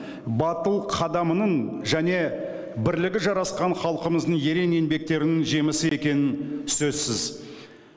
батыл қадамының және бірлігі жарасқан халқымыздың ерен еңбектерінің жемісі екені сөзсіз